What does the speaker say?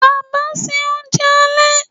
baba se ounjẹ ale?